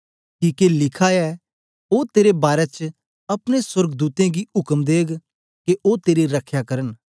किके लिखा ऐ ओ तेरे बारै च अपने सोर्गदूतें गी उक्म देग के ओ तेरी रख्या करन